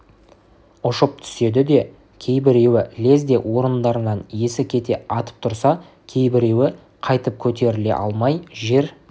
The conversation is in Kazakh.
ұшып түседі де кейбіреуі лезде орындарынан есі кете атып тұрса кейбіреуі қайтып көтеріле алмай жер